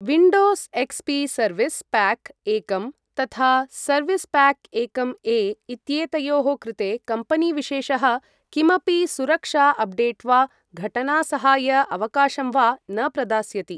Windows XP service pack एकं तथा service pack एकं ए इत्येतयोः कृते कम्पेनीविशेषः किमपि सुरक्षा अप्डेट् वा घटना सहाय अवकाशं वा न प्रदास्यति।